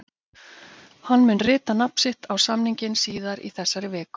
Hann mun rita nafn sitt á samninginn síðar í þessari viku.